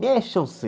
Mexam-se!